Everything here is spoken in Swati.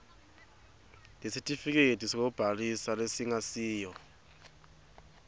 lesitifiketi sekubhalisa lesingasiyo